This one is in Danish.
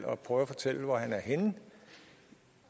og prøve at fortælle hvor han er henne